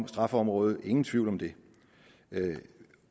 straffeområde ingen tvivl om det